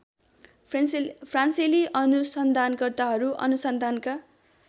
फ्रान्सेली अनुसन्धानकर्ताहरू अनुसन्धानका